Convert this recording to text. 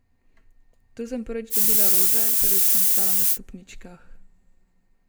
Tu sem prvič dobila rože, prvič sem stala na stopničkah.